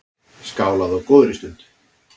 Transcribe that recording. Skálað á góðri stund.